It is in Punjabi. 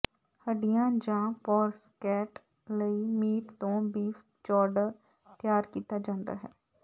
ਹੱਡੀਆਂ ਜਾਂ ਪੋਰਸਕੇਟ ਲਈ ਮੀਟ ਤੋਂ ਬੀਫ ਚੌਰਡਰ ਤਿਆਰ ਕੀਤਾ ਜਾਂਦਾ ਹੈ